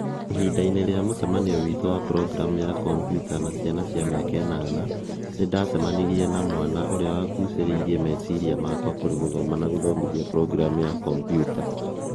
Ihinda-inĩ rĩa mũcemanio witũ wa programu ya kompiuta na ciana cia miaka inana, nĩndacemirie na mwana ũrĩa wa gucĩrĩirie meciria makwa kũrĩ gũthoma na gũthomithia programu ya kombiuta